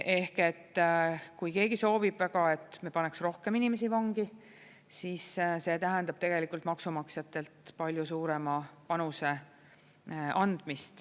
Ehk kui keegi soovib väga, et me paneks rohkem inimesi vangi, siis see tähendab tegelikult maksumaksjatelt palju suurema panuse andmist.